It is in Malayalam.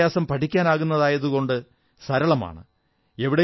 നിഷ്പ്രയാസം പഠിക്കാനാകുന്നതായതുകൊണ്ട് സരളമാണ്